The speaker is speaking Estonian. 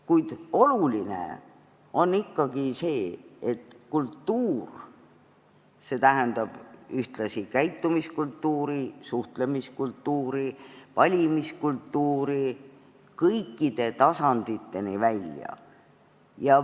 Kuid oluline on ikkagi see, et kultuur tähendab ühtlasi käitumiskultuuri, suhtlemiskultuuri, valimiskultuuri kõikide tasanditeni välja.